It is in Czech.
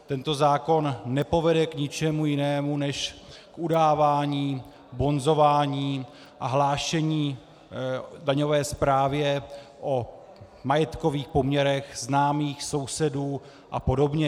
Tento zákon nepovede k ničemu jinému než k udávání, bonzování a hlášení daňové správě o majetkových poměrech známých, sousedů a podobně.